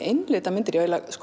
einlita myndir